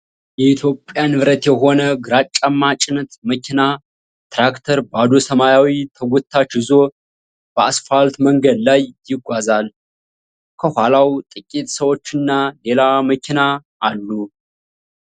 የኢትዮጵያ ንብረት የሆነ ግራጫማ ጭነት መኪና (ትራክተር) ባዶ ሰማያዊ ተጎታች ይዞ በአስፋልት መንገድ ላይ ይጓዛል። ከኋላው ጥቂት ሰዎችና ሌላ መኪና አሉ።